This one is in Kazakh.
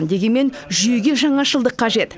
дегенмен жүйеге жаңашылдық қажет